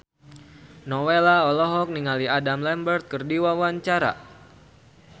Nowela olohok ningali Adam Lambert keur diwawancara